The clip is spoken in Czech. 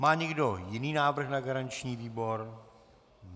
Má někdo jiný návrh na garanční výbor?